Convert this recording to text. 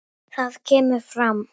Þar kemur fram